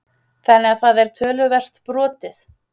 Þannig að það er töluvert brotið?